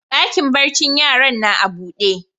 Dakin barcin yaran na a buɗe.